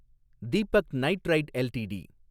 Deepak nitrite LTD